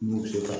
N'u bɛ ka